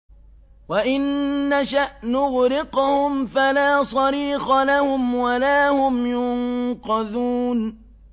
وَإِن نَّشَأْ نُغْرِقْهُمْ فَلَا صَرِيخَ لَهُمْ وَلَا هُمْ يُنقَذُونَ